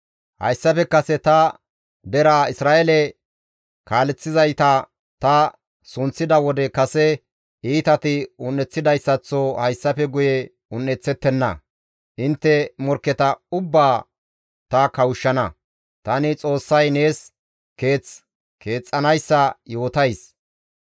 Hayssafe kase ta deraa Isra7eele kaaleththizayta ta sunththida wode kase iitati un7eththidayssaththo hayssafe guye un7eththettenna; intte morkketa ubbaa ta kawushshana; tani Xoossay nees keeth keexxanayssa yootays.